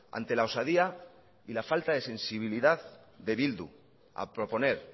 ante la osadía y la falta de sensibilidad de bildu a proponer